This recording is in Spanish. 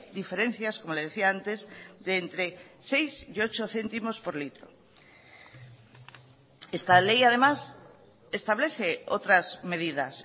diferencias como le decía antes de entre seis y ocho céntimos por litro esta ley además establece otras medidas